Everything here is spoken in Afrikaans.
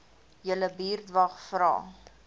julle buurtwag vra